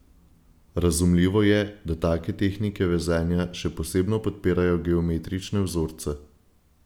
Razumljivo je, da take tehnike vezenja še posebno podpirajo geometrične vzorce.